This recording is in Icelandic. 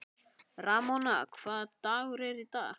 Ramóna, hvaða dagur er í dag?